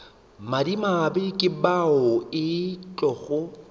madimabe ke bao e tlogo